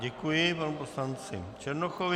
Děkuji panu poslanci Černochovi.